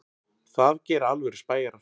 Það gera alvöru spæjarar.